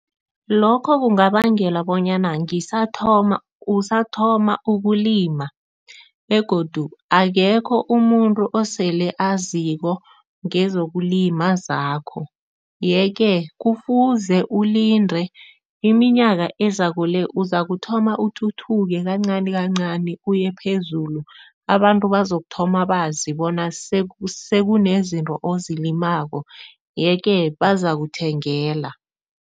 Lokho kungabangela bonyana nangisathoma usathoma ukulima begodu akekho umuntu osele aziko ngezokulima zakho yeke kufuze ulinde iminyaka ezako le, uzakuthoma uthuthuke kancani kancani uye phezulu, abantu bazokuthoma bazi bona sekunezinto ozilimako yeke bazakuthengela.